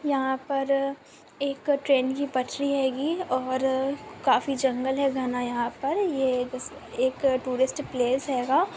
यहाँ पर एक ट्रैन की पटरी हैगी और काफी जंगल हैं घना यहाँ पर ये एक एक टूरिस्ट पैलेस हैगा।